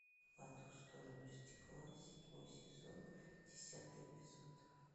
по ту сторону стекла седьмой сезон десятый эпизод